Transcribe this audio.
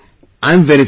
I am very fine